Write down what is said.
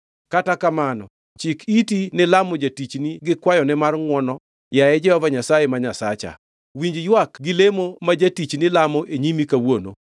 Kata kamano chik iti ni lamo jatichni gi kwayone mar ngʼwono, yaye Jehova Nyasaye Nyasacha. Winji ywak gi lemo ma jatichni lamo e nyimi kawuono.